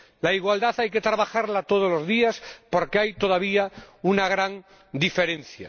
La igualdad hay que trabajarla todos los días, porque hay todavía una gran diferencia.